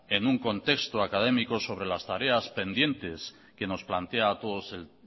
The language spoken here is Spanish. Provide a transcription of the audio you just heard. en un contexto académico sobre las tareas pendientes que nos plantea a todos el